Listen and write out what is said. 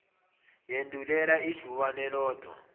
yandulela ijubane lodwa